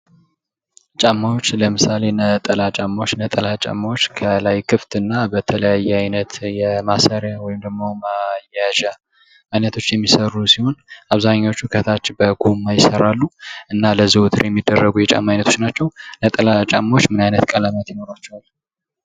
ጫማዎች ለምሳሌ ነጠላ ጫማዎች ነጠላ ጫማዎች ከላይ ክፍት እና በተለያይ ኣይነት ማሰሪያ ወይም ማያያዣ አይነቶች የሚሰሩ ሲሆን፤ አብዛኞቹ ከታች በጎማ ይሰራሉ እና ለዘወትር የሚደረጉ የጫማ አይነቶች ናቸው። ነጠላ ጫማዎች ምን አይነት ቀለማት ይኖራቸዋል?